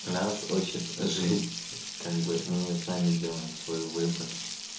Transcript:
нас учит жизнь как бы мы сами делаем свой выбор